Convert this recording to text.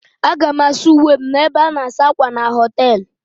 Aga m asa uwe m n'ebe a na-asa ákwà na họtel.